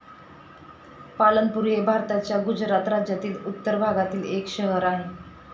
पालनपुर हे भारताच्या गुजरात राज्यातील उत्तर भागातील एक शहर आहे.